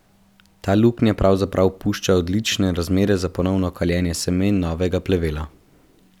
Ta luknja pravzaprav pušča odlične razmere za ponovno kaljenje semen novega plevela.